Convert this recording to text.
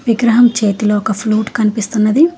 విగ్రహం చేతిలో ఒక ఫ్లూట్ కనిపిస్తున్నది.